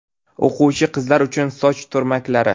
O‘quvchi qizlar uchun soch turmaklari .